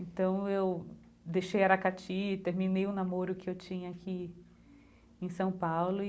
Então, eu deixei Aracati, terminei o namoro que eu tinha aqui em São Paulo e